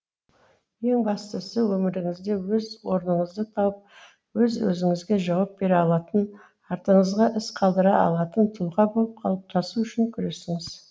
ең бастысы өміріңізде өз орныңызды тауып өз өзіңізге жауап бере алатын артыңызға із қалдыра алатын тұлға болып қалыптасу үшін күресіңіз